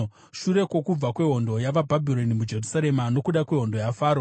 Shure kwokubva kwehondo yavaBhabhironi muJerusarema nokuda kwehondo yaFaro,